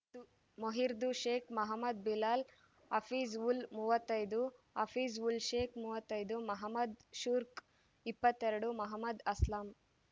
ಮೊಹಿದ್ದುರ್‌ ಶೇಖ್‌ ಮಹಮ್ಮದ್‌ ಬಿಲಾಲ್‌ ಹಫೀಜ್‌ ಉಲ್‌ ಮೂವತ್ತೈದು ಹಫೀಜ್‌ ಉಲ್‌ ಶೇಖ್‌ ಮೂವತ್ತೈದು ಮಹಮ್ಮದ್‌ ಶುರ್ಕ್ ಇಪ್ಪತ್ತೆರಡು ಮಹಮ್ಮದ್‌ ಅಸ್ಲಾಂ